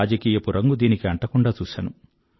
రాజకీయపు రంగు దీనికి అంటకుండానే చూశాను